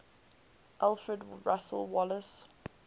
alfred russel wallace